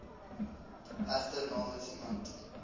egter namens iemand